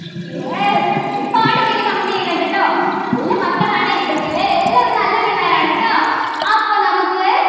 yes ഒരുപാട് പേര് Comment ചെയ്യുന്നുണ്ട് കേട്ടോ നല്ല മക്കളാണ് എൻ്റെ പിള്ളേരെല്ലാവരും നല്ല പിള്ളേരാണ് ട്ടോ അപ്പൊ നമുക്ക്